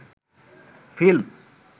film